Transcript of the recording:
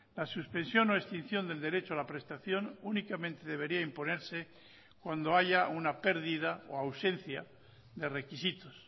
la suspensión o extinción del derecho a la prestación únicamente debería imponerse cuando haya una pérdida o ausencia de requisitos